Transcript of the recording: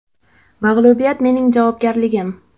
Mag‘lubiyat mening javobgarligim.